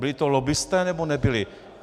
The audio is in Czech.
Byli to lobbisté, nebo nebyli?